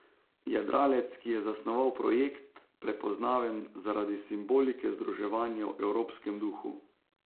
Jadralec, ki je zasnoval projekt, prepoznaven zaradi simbolike združevanja v evropskem duhu.